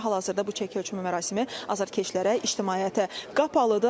Hal-hazırda bu çəki ölçmə mərasimi azərkeşlərə, ictimaiyyətə qapalıdır.